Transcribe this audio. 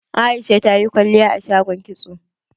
Aisha tayi kwalliya a shagon kitso.